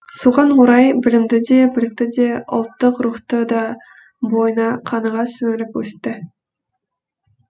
соған орай білімді де білікті де ұлттық рухты да бойына қаныға сіңіріп өсті